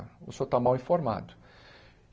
O senhor está mal informado.